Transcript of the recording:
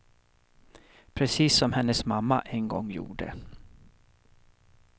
Precis som hennes mamma en gång gjorde.